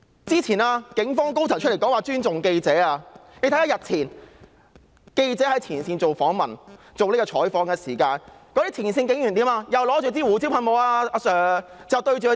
早前警方高層出來表示會尊重記者採訪，但日前記者在前線採訪的時候，前線警察卻手持胡椒噴霧向着記者雙眼。